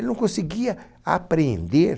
Ele não conseguia apreender...